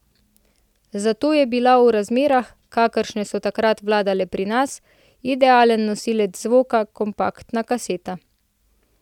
Zato je bila v razmerah, kakršne so takrat vladale pri nas, idealen nosilec zvoka kompaktna kaseta.